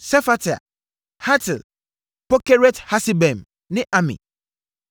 Sefatia, Hatil, 1 Pokeret-Hasebaim ne Ami. 1